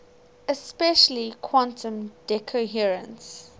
especially quantum decoherence